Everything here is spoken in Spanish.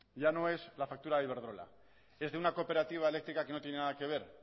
yo no es la factura de iberdrola es de una cooperativa eléctrica que no tiene nada que ver